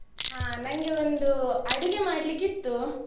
ನಂಗೆ ಒಂದು ಅಡುಗೆ ಮಾಡಲಿಕ್ಕೆ ಇತ್ತು.